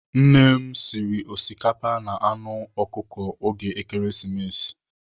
Nne m sịrị osikapa na anụ anụ ọkụkọ n'oge Ekeresimesi.